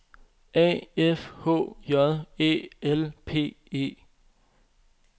A F H J Æ L P E